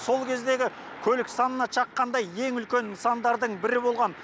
сол кездегі көлік санына шаққанда ең үлкен нысандардың бірі болған